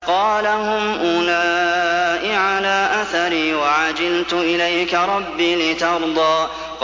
قَالَ هُمْ أُولَاءِ عَلَىٰ أَثَرِي وَعَجِلْتُ إِلَيْكَ رَبِّ لِتَرْضَىٰ